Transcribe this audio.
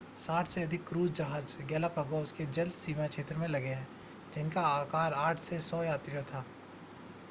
60 से अधिक क्रूज़ जहाज गैलापागोस के जल सीमा क्षेत्र में लगे रहे जिनका आकार 8 से 100 यात्रियों था